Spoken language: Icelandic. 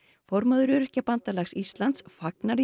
formaður Öryrkjabandalags Íslands fagnar